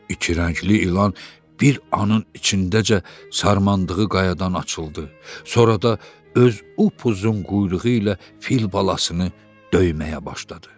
İki rəngli ilan bir anın içindəcə sarılandığı qayadan açıldı, sonra da öz upuzun quyruğu ilə fil balasını döyməyə başladı.